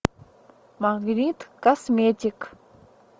магнит косметик